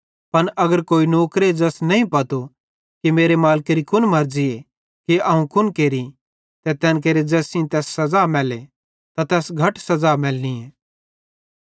पन अगर कोई नौकरे ज़ैस नईं पतो कि मेरे मालिकेरी कुन मर्ज़ी कि अवं कुन केरि ते तैन केरे ज़ैस सेइं तैस सज़ा मैल्ले त तैस घट सज़ा मैलेली